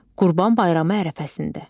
Qurban bayramı ərəfəsində.